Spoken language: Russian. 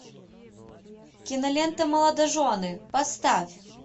кинолента молодожены поставь